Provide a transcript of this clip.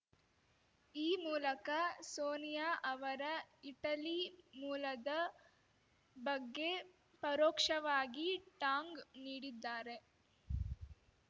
ಈ ಮೂಲಕ ಸೋನಿಯಾ ಅವರ ಇಟಲಿ ಮೂಲದ ಬಗ್ಗೆ ಪರೋಕ್ಷವಾಗಿ ಟಾಂಗ್‌ ನೀಡಿದ್ದಾರೆ